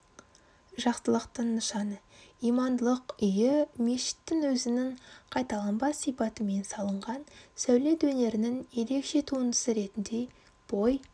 жақсылықтың нышаны имандылық үйі мешіттің өзінің қайталанбас сипатымен салынған сәулет өнерінің ерекше туындысы ретінде бой